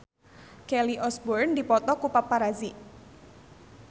Kelly Osbourne dipoto ku paparazi